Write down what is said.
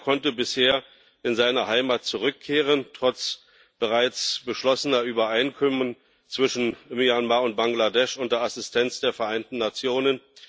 Keiner konnte bisher in seine Heimat zurückkehren, trotz bereits beschlossener Übereinkommen zwischen Myanmar und Bangladesch unter Assistenz der Vereinten Nationen.